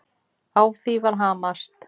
Á því var hamast.